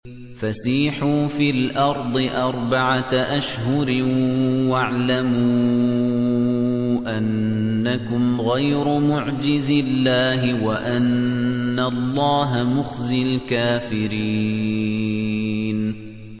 فَسِيحُوا فِي الْأَرْضِ أَرْبَعَةَ أَشْهُرٍ وَاعْلَمُوا أَنَّكُمْ غَيْرُ مُعْجِزِي اللَّهِ ۙ وَأَنَّ اللَّهَ مُخْزِي الْكَافِرِينَ